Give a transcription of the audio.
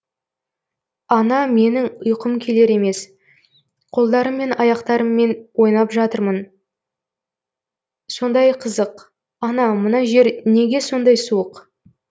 ана менің ұйқым келер емес қолдарым мен аяқтарммен ойнап жатырмын сондай қызық ана мына жер неге сондай суық